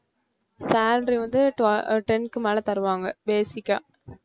salary வந்து twe~ அஹ் ten க்கு மேல தருவாங்க basic ஆ